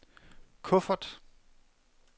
kuffert